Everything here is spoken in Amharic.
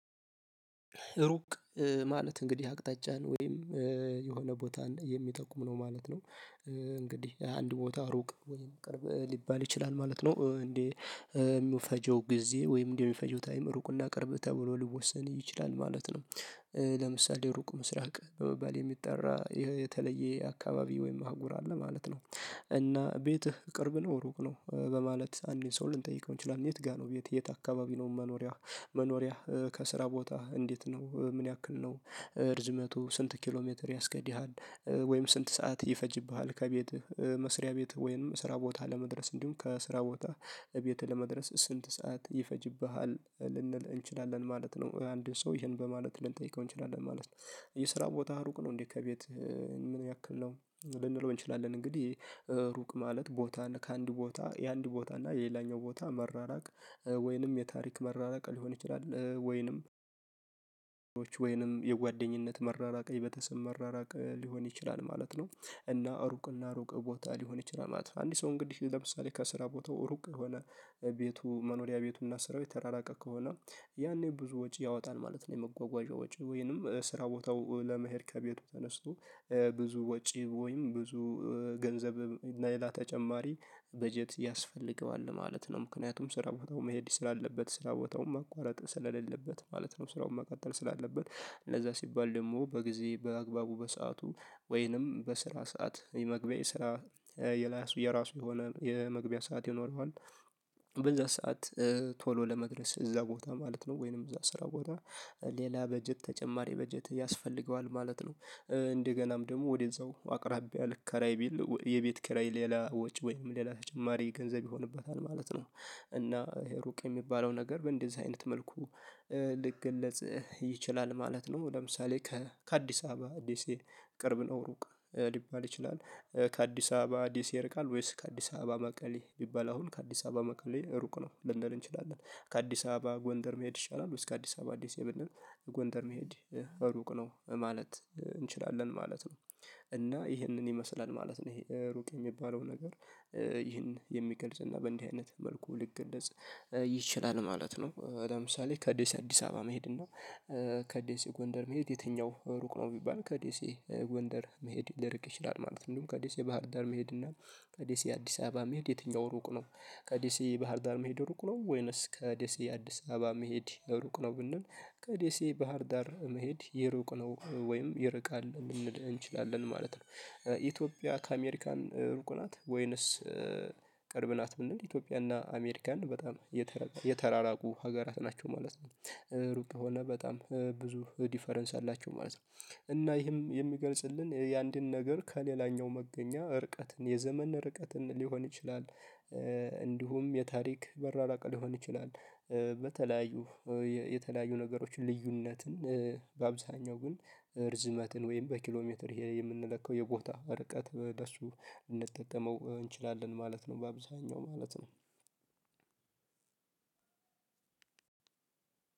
ሩቅ ማለት እንግዲህ አቅጣጫን ወይም የሆነ ቦታን የሚጠቁም ነው ማለት ነው እንግዲህ አንድ ቦታ ሩቅ ወይም ቅርብ ሊባል ይችላል ማለት ነው። እንዴ የሚውፈጀው ጊዜ ወይም እንደሚፈጀው ታይም ሩቅ እና ቅርብ ተብሎ ልወሰን ይችላል ማለት ነው። ለምሳሌ ሩቁ ምስራቅ በመባል የሚጠራ የተለየ አካባቢ ወይም አህጉር አለ ማለት ነው። እና ቤትህ ቅርብ ነው ሩቅ ነው በማለት አንድን ሰው ልንጠይቀው እንችላለን። የት ጋር ነው የት የት አካባቢ ነው መኖሪያ መኖሪያህ ከስራ ቦታ እንዴት ነው ምን ያክል ነው? እርዝመቱ ስንት ኪሎ ሜትር ያስኬድሀል ወይም ስንት ሰዓት ይፈጅብሃል ከቤትህ መስሪያ ቤትህ ወይንም ስራ ቦታ ለመድረስ እንዲሁም ከስራ ቦታህ ቤትህ ለመድረስ ስልት ሰዓት ይፈጅብሃል ልንል እንችላለን ማለት ነው። አንድን ሰው ይሄን በማለት ልንጠይቀው እንችላለን ማለት ነው። የስራ ቦታህ ሩቅ ነው እንዴ ከቤት ምን ያክል ነው ልንለው እንችላለን? እንግዲህ ሩቅ ማለት ቦታን ከአንድ ቦታ የአንድ ቦታ እና የሌላኛው ቦታ መራራቅ ወይንም የታሪክ መራራቅ ሊሆን ይችላል ወይንም ወይንም የጓደኝነት መራራቅ የቤተሰብ መራራቅ ሊሆን ይችላል ማለት ነው። እና ሩቅና ሩቅ ቦታ ሊሆን ይችላል ማለት ነው። አንድ ሰው እንግዲህ ለምሳሌ ከስራ ቦታው ሩቅ የሆነ ቤቱ መኖሪያ ቤቱና ስራው የተራራቀ ከሆነ ያኔ ብዙ ወጪ ያወጣል ማለት ነው። የመጓጓዣ ወጪ ወይንም ስራ ቦታው ለመሄድ ከቤቱ ተነስቶ ብዙ ወጪ ወይም ብዙ ገንዘብ እና ሌላ ተጨማሪ በጀት ያስፈልገዋል ማለት ነው። ምክንያቱም ስራ ቦታው መሄድ ስላለበት ስራ ቦታውን ማቋረጥ ስለሌለበት ማለት ነው። ስራውን መቀጠል ስላለበት እንደዛ ሲባል ደግሞ በጊዜ በአግባቡ በሰአቱ ወይንም በስራ ሰዓት የመግቢያ የስራ የላሱ የራሱ የሆነ የመግቢያ ሰዓት ይኖረዋል። በዛ ሰዓት ቶሎ ለመድረስ እዛ ቦታ ማለት ነው ወይንም እዛ ስራ ቦታ ሌላ በጀት ተጨማሪ በጀት ያስፈልገዋል ማለት ነው። እንደገናም ደግሞ ወደዛው አቅራቢያ ልከራይ ቢል የቤት ኪራይ ሌላ ወጪ ወይም ሌላ ተጨማሪ ገንዘብ ይሆንበታል ማለት ነው። እና ይሄ ሩቅ የሚባለው ነገር በእንደዚህ አይነት መልኩ ልገለጽ ይችላል ማለት ነው። ለምሳሌ ከ ከአዲስ አበባ ደሴ ቅርብ ነው ሩቅ ሊባል ይችላል። ከአዲስ አበባ ደሴ ቃል ወይስ ከአዲስ አበባ መቀሌ ቢባል አሁን ከአዲስ አበባ መቀሌ ሩቅ ነው ልንል እንችላለን። ከአዲስ አበባ ጎንደር መሄድ ይሻላል ውስጥ ከአዲስ አበባ አዲስ ደሴ ብንል ጎንደር መሄድ ሩቅ ነው ማለት እንችላለን ማለት ነው። እና ይህንን ይመስላል ማለት ነው ይሄ ሩቅ የሚባለው ነገር ይህን የሚገልጽ እና በእንዲህ አይነት መልኩ ልገለጽ ይችላል ማለት ነው። ለምሳሌ ከደሴ አዲስ አበባ መሄድ እና ከደሴ ጎንደር መሄድ የትኛው ሩቅ ነው? ቢባል ከዴሴ ጎንደር መሄድ ሊርቅ ይችላል ማለት ነው። እንዲሁም ከዴሴ ባህርዳር መሄድና ከደሴ አዲስ አበባ መሄድ የትኛው ሩቅ ነው? ከዲሴ ባህርዳር መሄድ ሩቅ ነው ወይንስ ከደሴ አዲስ አበባ መሄድ ሩቅ ነው ብንል ከዴሴ ባህር ዳር መሄድ ይሩቅ ነው ወይም ይርቃል ልንል እንችላለን ማለት ነው። ኢትዮጵያ ከአሜሪካን ሩቅ ናት ወይንስ ቅርብ ናት? ብንል ኢትዮጵያና አሜሪካን በጣም የተራራቁ ሀገራት ናቸው ማለት ነው ሩቅ የሆነ በጣም ብዙ ዲፈረንስ አላቸው ማለት ነው። እና ይህም የሚገልጽልን የአንድን ነገር ከሌላኛው መገኛ እርቀትን የዘመን እርቀትን ሊሆን ይችላል። እንዲሁም የታሪክ መራራቅ ሊሆን ይችላል። በተለያዩ የተለያዩ ነገሮችን ልዩነትን በአብዛኛው ግን ርዝመትን ወይም በኪሎ ሜትር ይሄ የምንለካው የቦታ ርቀት በሱ ልንጠቀመው እንችላለን ማለት ነው። በአብዛኛው ማለት ነው።